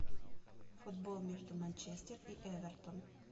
футбол между манчестер и эвертон